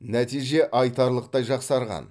нәтиже айтарлықтай жақсарған